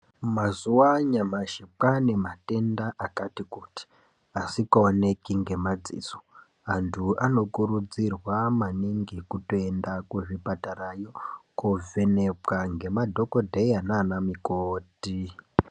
Mazuwa anyamashi kwaanematenda akati kuti asikaoneki ngemadziso. Antu anokurudzirwa maningi kutoenda kuzvipatarayo koovhenekwa ngemadhogodheya naana mukoti.